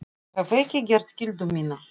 Ég hef ekki gert skyldu mína.